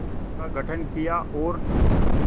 का गठन किया और